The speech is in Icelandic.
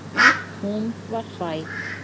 Hún var hræ.